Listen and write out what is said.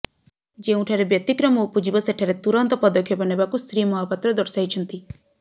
ଯେଉଁଠାରେ ବ୍ୟତିକ୍ରମ ଉପଜିବ ସେଠାରେ ତୁରନ୍ତ ପଦକ୍ଷେପ ନେବାକୁ ଶ୍ରୀ ମହାପାତ୍ର ଦର୍ଶାଇଛନ୍ତି